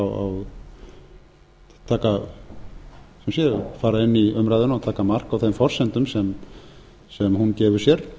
að þeir fara inn í umræðuna og taka mark á þeim forsendum sem hún gefur sér